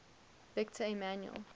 victor emmanuel